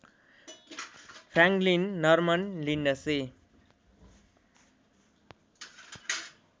Franklin Norman Lindsay